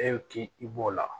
E k'i b'o la